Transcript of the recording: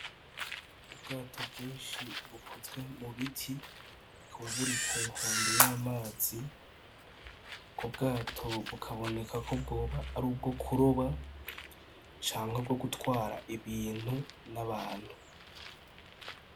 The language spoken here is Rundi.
Ubwato bwinshi bukozwe mu biti, bukaba buri ku nkombe y'amazi. Ubwo bwato bukaboneka ko bwoba ari ubwo kuroba canke bwo gutwara ibintu n'abantu.